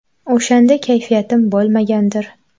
O‘shanda kayfiyatim bo‘lmagandir.